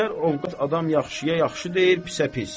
Əksər ovqat adam yaxşıya yaxşı deyir, pisə pis.